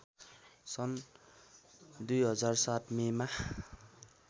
सन् २००७ मेमा